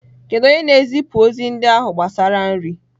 Kedu onye na-ezipụ ozi ndị ahụ gbasara nri?